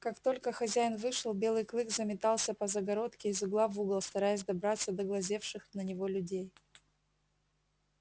как только хозяин вышел белый клык заметался по загородке из угла в угол стараясь добраться до глазевших на него людей